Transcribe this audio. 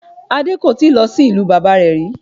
Adé kò tíì lọ sí ìlú bàbá rẹ̀ rí